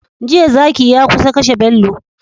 Jiya zaki ya kusa kashe bello